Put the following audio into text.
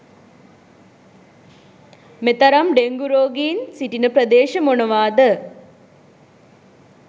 මෙතරම් ඩෙංගු රෝගීන් සිටින ප්‍රදේශ මොනවාද?